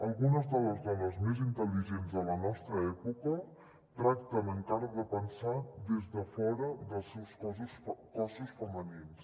algunes de les dones més intel·ligents de la nostra època tracten encara de pensar des de fora dels seus cossos femenins